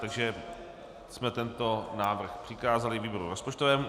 Takže jsme tento návrh přikázali výboru rozpočtovému.